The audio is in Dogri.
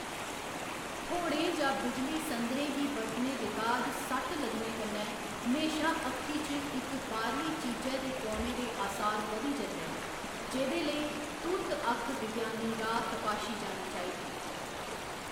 थ्होड़ें जां बिजली संदरें गी बरतने दे बाद सट्ट लग्गने कन्नै म्हेशां अक्खी च इक बाह्‌रली चीजै दे पौने दे असार बधी जंदे न, जेह्‌दे लेई तुर्त अक्ख विज्ञानी राऽ तपाशी जानी चाहिदी।